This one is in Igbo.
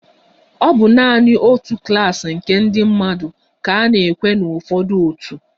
Ọ bụ naanị otu klas nke ndị mmadụ ka a na-ekwe na ụfọdụ otu.